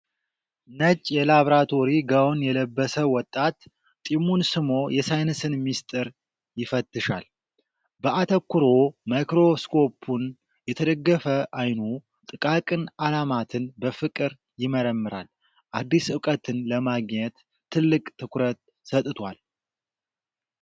ነጭ የላብራቶሪ ጋወን የለበሰ ወጣት ጢሙን ስሞ የሳይንስን ምሥጢር ይፈትሻል። በአተኩሮ ማይክሮስኮፑን የተደገፈ አይኑ፣ ጥቃቅን ዓለማትን በፍቅር ይመረምራል። አዲስ ዕውቀትን ለማግኘት ጥልቅ ትኩረት ሰጥቷል።